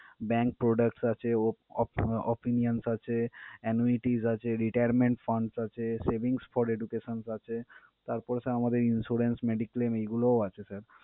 Bank products আছে, op~offoff~ opinions আছে, annuities আছে, retirement funds আছে, savings for educations আছে তারপর sir আমাদের insurance, mediclaim এইগুলো আছে sir ।